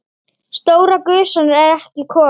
Stóra gusan er ekki komin.